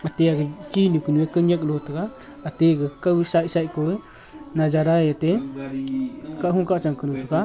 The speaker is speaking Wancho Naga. ate ag tinu kanu kontak galo taga ate kaw side side koh najara ye ate kahho kahchang kanu thaga.